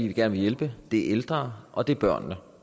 vi gerne vil hjælpe det er ældre og det er børn